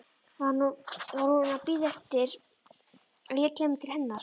Var hún að bíða eftir að ég kæmi til hennar?